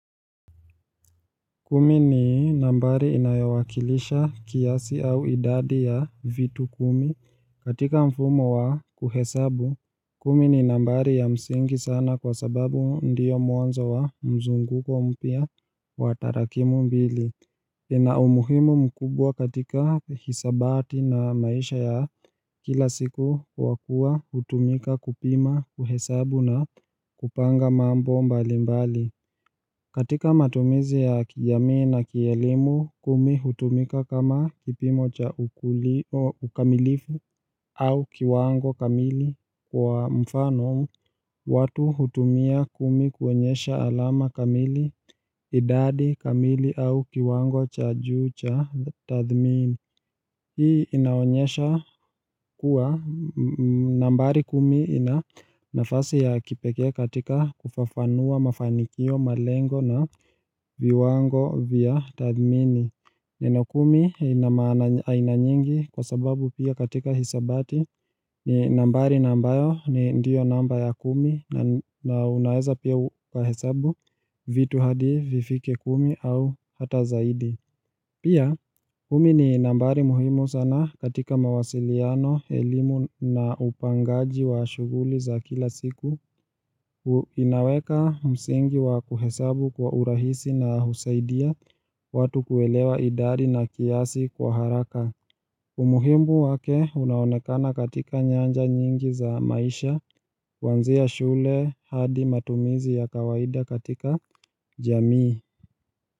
Kumi ni nambari inayowakilisha kiasi au idadi ya vitu kumi katika mfumo wa kuhesabu. Kumi ni nambari ya msingi sana kwa sababu ndiyo mwanzo wa mzunguko mpya wa tarakimu mbili. Ina umuhimu mkubwa katika hisabati na maisha ya kila siku kwa kuwa hutumika kupima, kuhesabu na kupanga mambo mbalimbali. Katika matumizi ya kijamii na kielimu, kumi hutumika kama kipimo cha ukamilifu au kiwango kamili kwa mfano, watu hutumia kumi kuonyesha alama kamili, idadi kamili au kiwango cha juu cha tathmini Hii inaonyesha kuwa nambari kumi ina nafasi ya kipekee katika kufafanua mafanikio, malengo na viwango vya tathmini. Neno kumi ina maana aina nyingi kwa sababu pia katika hisabati ni nambari ambayo ni ndiyo namba ya kumi na unaweza pia ukahesabu vitu hadi vifike kumi au hata zaidi Pia, kumi ni nambari muhimu sana katika mawasiliano, elimu na upangaji wa shughuli za kila siku, inaweka msingi wa kuhesabu kwa urahisi na husaidia, watu kuelewa idari na kiasi kwa haraka. Umuhimu wake unaonekana katika nyanja nyingi za maisha, kuanzia shule hadi matumizi ya kawaida katika jamii.